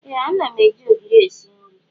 Ee ana m eji ogiri esi nri.